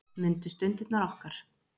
Mundu stundirnar okkar.